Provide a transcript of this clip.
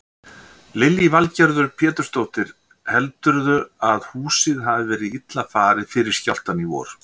Lillý Valgerður Pétursdóttir: Heldurðu að húsið hafi verið illa farið fyrir skjálftann í vor?